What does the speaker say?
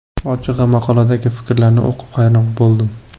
Ochig‘i, maqoladagi fikrlarni o‘qib, hayron bo‘ldim.